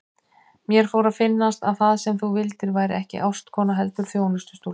Mér fór að finnast að það sem þú vildir væri ekki ástkona heldur þjónustustúlka.